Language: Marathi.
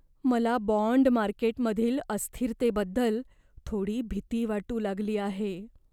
मला बाँड मार्केटमधील अस्थिरतेबद्दल थोडी भीती वाटू लागली आहे.